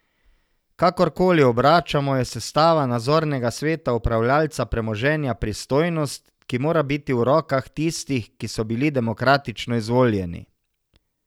Kakorkoli obračamo, je sestava nadzornega sveta upravljavca premoženja pristojnost, ki mora biti v rokah tistih, ki so bili demokratično izvoljeni.